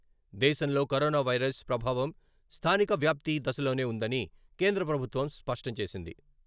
దేశంలో corona virus ప్రభావం స్థానిక వ్యాప్తి దశలోనే ఉందని కేంద్ర ప్రభుత్వం స్పష్టం చేసింది.